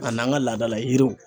A n'an ka laadala yiriw.